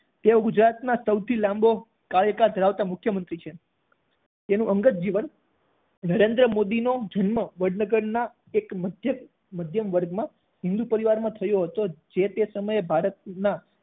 તેઓ ગુજરાતના સૌથી લાંબો કાર્યકાળ ધરાવતા મુખ્યમંત્રી છે તેનું અંગત જીવન નરેન્દ્ર મોદીનો જન્મ વડનગરનાં એક મઘ્યક મધ્યમ વર્ગ માં હિન્દુ પરિવારમાં થયો હતો જે તે સમયે ભારતનાં